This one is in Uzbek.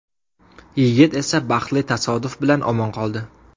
Yigit esa baxtli tasodif bilan omon qoldi.